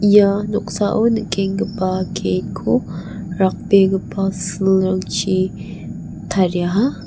ia noksao nikenggipa gate -ko rakbegipa silrangchi tariaha.